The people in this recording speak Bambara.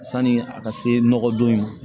Sanni a ka se nɔgɔ don in ma